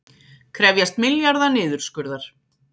Krefjast milljarða niðurskurðar